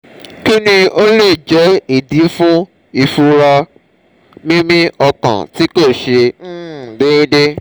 kini o le je idi fun ifunra mimi okan ti ko se um deede?